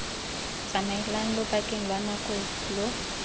tsamaelang lobakeng lwa nako lo